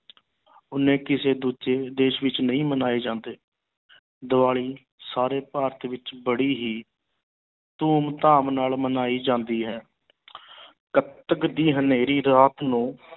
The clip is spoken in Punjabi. ਉਨੇ ਕਿਸੇ ਦੂਜੇ ਦੇਸ ਵਿੱਚ ਨਹੀਂ ਮਨਾਏ ਜਾਂਦੇ ਦੀਵਾਲੀ ਸਾਰੇ ਭਾਰਤ ਵਿੱਚ ਬੜੀ ਹੀ ਧੂਮ ਧਾਮ ਨਾਲ ਮਨਾਈ ਜਾਂਦੀ ਹੈ ਕੱਤਕ ਦੀ ਹਨੇਰੀ ਰਾਤ ਨੂੰ